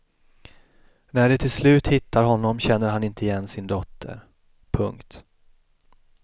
När de till slut hittar honom känner han inte igen sin dotter. punkt